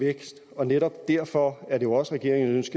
vækst og netop derfor er det jo også regeringens